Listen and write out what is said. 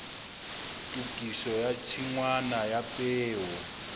tokiso ya tshingwana ya peo